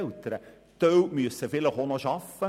Einige müssen auch arbeiten.